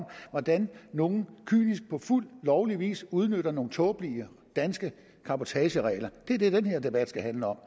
hvordan nogle kynisk på fuld lovlig vis udnytter nogle tåbelige danske cabotageregler det er det den her debat skal handle om